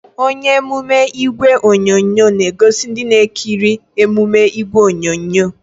Onye emume ìgwè onyonyo na-egosi ndị na-ekiri emume ìgwè onyonyo